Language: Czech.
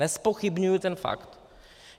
Nezpochybňuji ten fakt.